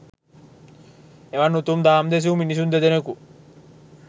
එවන් උතුම් දහම් දෙසූ මිනිසුන් දෙදෙනෙකු